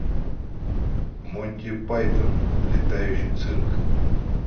монти пайтон летающий цирк